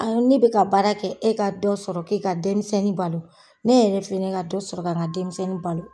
ne be ka baara kɛ e ka dɔ sɔrɔ k'i ka denmisɛnnin balo. Ne yɛrɛ fɛnɛ ka dɔ sɔrɔ k'i ka denmisɛnnin balo.